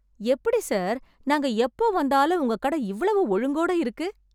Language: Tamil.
எப்படி சார் நாங்க எப்போ வந்தாலும் உங்கக் கடை இவ்வளவு ஒழுங்கோட இருக்கு!